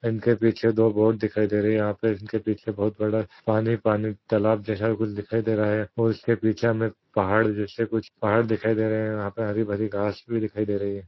इनके पीछे दो बोट दिखाई दे रही यहाँ पे इनके पीछे बहुत बड़ा पानी पानी तलाब जैसा कुछ दिखाई दे रहा है और उसके पीछे हमें पहाड़ जैसे कुछ पहाड़ दिखाई दे रहे है यहाँ पर हरी भरी घास भी दिखाई दे रही है।